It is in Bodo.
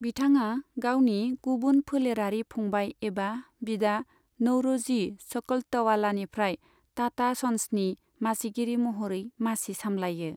बिथाङा गावनि गुबुन फोलेरारि फंबाइ एबा बिदा नौरोजि सकलतवालानिफ्राय टाटा सन्सनि मासिगिरि महरै मासि सामलायो।